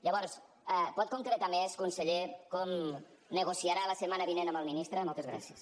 llavors pot concretar més conseller com negociarà la setmana vinent amb el ministre moltes gràcies